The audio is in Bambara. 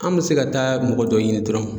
An bɛ se ka taa mɔgɔ dɔ ɲini dɔrɔn.